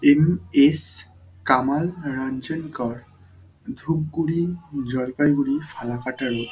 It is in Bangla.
M S Kamal Ranjan Kar. Dhupguri Jalpaiguri Falakata road.